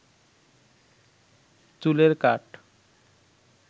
চুলের কাট